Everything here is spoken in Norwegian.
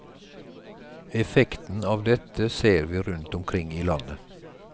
Effekten av dette ser vi rundt omkring i landet.